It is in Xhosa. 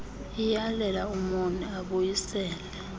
iyalela umoni abuyisele